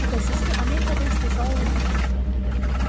Şübhəsiz ki, Amerikada istehsal olunmuş tüfəngidir.